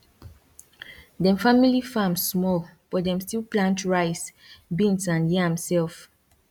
dem family farm small but dem still plant rice beans and yam self